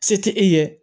Se tɛ e ye